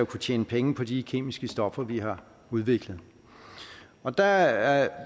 kunne tjene penge på de kemiske stoffer vi har udviklet og der